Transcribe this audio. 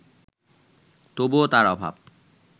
তবুও তার অভাব